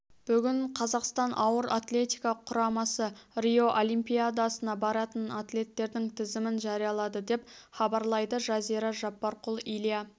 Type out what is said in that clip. бүгін қазақстан ауыр атлетика құрамасы рио олимпиадасына баратын атлеттердің тізімін жариялады деп хабарлайды жазира жаппарқұл илья